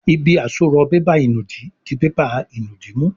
Ibi àsorọ̀ bébà ìnùdí dì bébà ìnùdí mú.